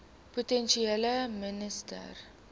provinsiale minister bepaal